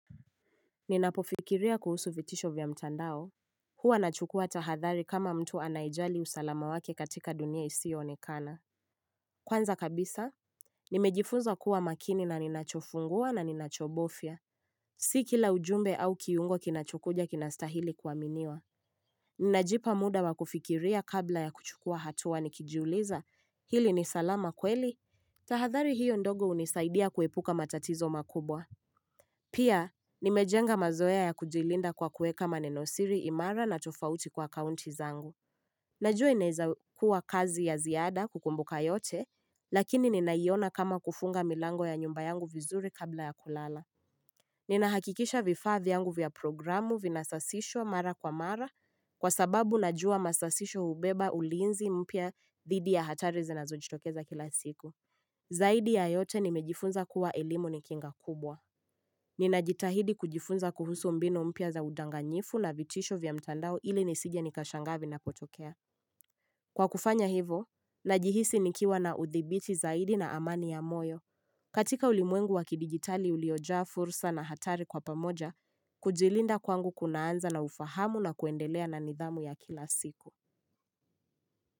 Ninapofikiria kuhusu vitisho vya mtandao Huwa nachukua tahathari kama mtu anaijali usalama wake katika dunia isionekana Kwanza kabisa Nimejifunza kuwa makini na ninachofungua na ninachobofya Si kila ujumbe au kiungo kinachokuja kinastahili kuaminiwa Ninajipa muda wa kufikiria kabla ya kuchukua hatua nikijuliza hili ni salama kweli tahathari hiyo ndogo hunisaidia kuepuka matatizo makubwa Pia, nimejenga mazoea ya kujilinda kwa kuweka maneno siri imara na tofauti kwa kaunti zangu. Najua inaweza kuwa kazi ya ziada kukumbuka yote, lakini ninaiona kama kufunga milango ya nyumba yangu vizuri kabla ya kulala. Ninahakikisha vifaa vyangu vya programu vinasasisho mara kwa mara kwa sababu najua masasisho hubeba ulinzi mpia didi ya hatari zinazojitokeza kila siku. Zaidi ya yote nimejifunza kuwa elimu ni kinga kubwa. Ninajitahidi kujifunza kuhusu mbinu mpia za udanganyifu na vitisho vya mtandao ili nisije nikashangaa vinapotokea Kwa kufanya hivo, najihisi nikiwa na uthibiti zaidi na amani ya moyo katika ulimwengu wakidigitali uliojaa fursa na hatari kwa pamoja, kujilinda kwangu kunaanza na ufahamu na kuendelea na nidhamu ya kila siku.